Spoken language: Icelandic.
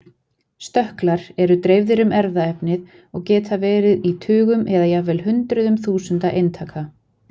Stökklar eru dreifðir um erfðaefnið og geta verið í tugum eða jafnvel hundruðum þúsunda eintaka.